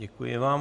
Děkuji vám.